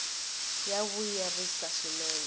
ya vuyerisa swinene